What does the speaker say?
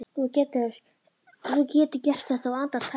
Þú getur gert þetta á andartaki.